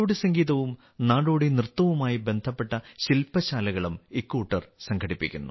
നാടോടി സംഗീതവും നാടോടി നൃത്തവുമായി ബന്ധപ്പെട്ട ശിൽപശാലകളും ഇക്കൂട്ടർ സംഘടിപ്പിക്കുന്നു